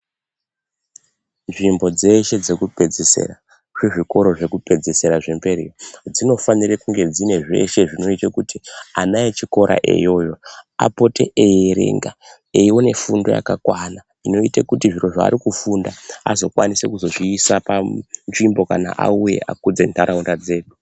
Nzvimbo dzeshe dzekupedzesera, zvezvikora zvekupedzesera zvemberi. Dzinofanirwa kunge dzine zveshe kuti ana echikora iyoyo apote eierenga. Eiona fundo yakakwana inoita kuti zviro zvaari kufunda azokwanisa kuzozviisa panzvimbo kana auya akudza nharaunda dzedu.